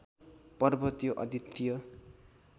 पर्व त्यो अद्वितीय